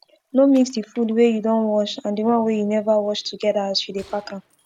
no mix d fud wey you don wash and d one wey u never wash togeda as u dey pack am